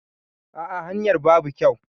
A'a hanyar babu kyau.